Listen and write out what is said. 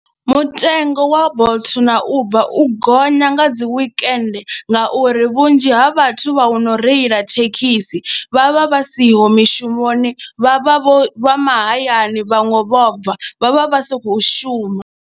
Mutengo wa Bolt na Uber u gonya nga dzi weekend ngauri vhunzhi ha vhathu vha no reila thekhisi vha vha vha siho mishumoni vha vha vho vha mahayani vhaṅwe vho bva, vha vha vha si khou shuma.